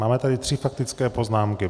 Máme tady tři faktické poznámky.